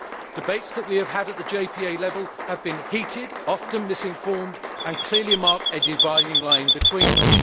Debates that we have had at the JPA level have been heated, often misinformed, and clearly mark a dividing line between us.